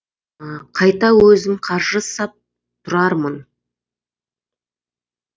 қайта өзім қаржы сап тұрармын